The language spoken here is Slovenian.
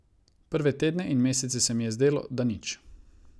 Prve tedne in mesece se mi je zdelo, da nič.